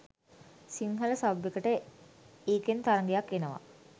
Sinhala sub එකට ඒකෙන් තරගයක් එනව.